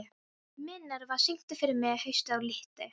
Minerva, syngdu fyrir mig „Haustið á liti“.